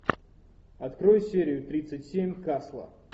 открой серию тридцать семь касла